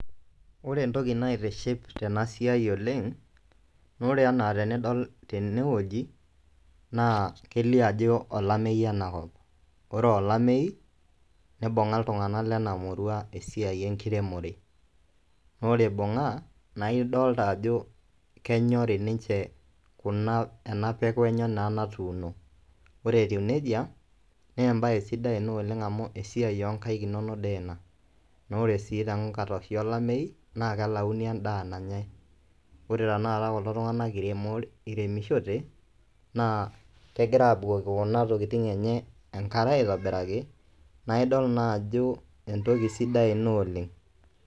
Ore entoki naitiship tena siai oleng', ore enaa tenidol tene woji naa kelio ajo olameyu enakop, ore aa olameyu nibung'a iltung'anak lena murua esiai enkiremore, naa ore ibung'a naa idolta ajo kenyori ninje kuna ena peku enye naa natuuno. Ore etiu neija nee embaye sidai ena oleng' amu esiai o nkaek inonok dii ina naa ore sii to nkataitin olameyu naa kelauni endaa nanyai. Ore tenakata kulo tung'anak iremo iremishote naa kegira aabukoki kuna tokitin enye enkare aitobiraki nae idol naa ajo entoki sidai ina oleng'.